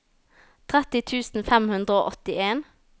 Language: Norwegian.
tretti tusen fem hundre og åttien